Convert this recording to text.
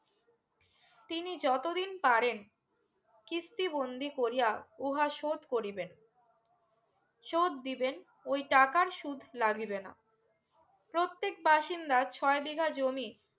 তিনি যত দিন পারেন কিস্তি বন্দি করিয়া উহা শোধ করিবেন শোধ দিবেন ওই টাকার সুদ লাগিবে না প্রত্যেক বাসিন্দা ছয় বিঘ জমি